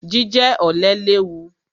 Jíjẹ ọ̀lẹ léwu.